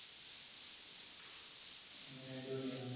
എങ്ങിനെ അടിപൊളിയാ?